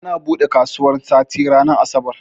Ana bude kasuwan sati ranar asabar